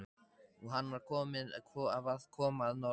Og hann var að koma að norðan!